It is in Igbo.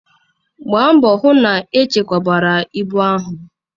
Gbaa mbọ hụ na echekwabara ibu ahụ!